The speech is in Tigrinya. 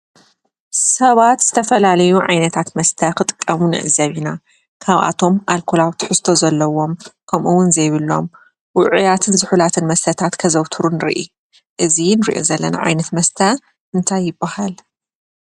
ሰባት ዝተፈላለዩ ዓይነታት መስተ ክጥቀሙ ንዕዘብ ኢና ።ካብኣቶም ኣልኮላዊ ትሕዝቶ ዘለዎ ከምኡ እውን ዘይብሎም ውዑያትን ዙሑላትን መስተታት ከዘውትሩ ንሪኢ። እዚ እንሪኦ ዘለና ዓይነት መስተ እንታይ ይበሃል?